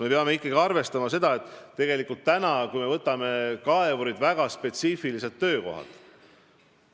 Me peame ikkagi arvestama seda, et kui me võtame kaevurid, siis on tegu väga spetsiifiliste töökohtadega.